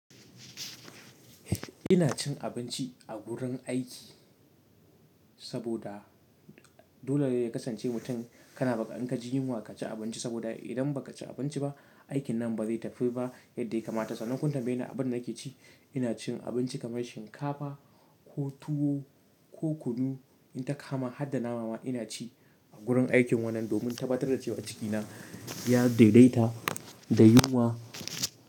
Ina cin abinci a gurin aiki saboda dole ne ya kasance mutum kana baƙa anka jin yunwa ka ci abinci saboda idan ba ka ci abinci ba, aikin nan ba zai tafi ba yadda ya kamata. Sanan kum tambaye ni abin da nake ci, ina cin abinci kamar shinkafa ko tuwo ko kunu, in ta kama hadda nama ina ci a gurin aikin wannan domin sabatar da cewa ciki na ya daidaita da yunwa.